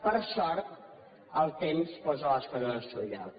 per sort el temps posa les coses al seu lloc